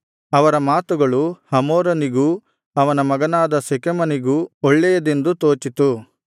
ಅವರ ಮಾತುಗಳು ಹಮೋರನಿಗೂ ಅವನ ಮಗನಾದ ಶೆಕೆಮನಿಗೂ ಒಳ್ಳೆಯದೆಂದು ತೋಚಿತು